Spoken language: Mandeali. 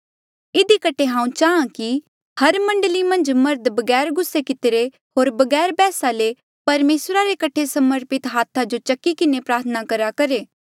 इधी कठे हांऊँ चाहां कि हर मण्डली मन्झ मर्ध बगैर गुस्से कितिरे होर बगैर बैहसा ले परमेसरा रे कठे समर्पित हाथा जो उठाई किन्हें प्रार्थना करेया करहे